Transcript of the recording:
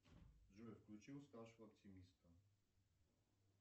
джой включи уставшего оптимиста